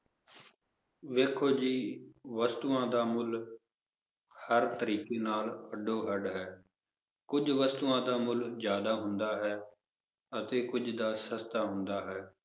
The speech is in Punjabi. ਵੇਖੋ ਜੀ ਵਸਤੂਆਂ ਦਾ ਮੁੱਲ ਹਰ ਤਰੀਕੇ ਨਾਲ ਅੱਡੋ ਅੱਡ ਹੈ ਕੁੱਝ ਵਸਤੂਆਂ ਦਾ ਮੁੱਲ ਜ਼ਿਆਦਾ ਹੁੰਦਾ ਹੈ, ਅਤੇ ਕੁੱਝ ਦਾ ਸਸਤਾ ਹੁੰਦਾ ਹੈ,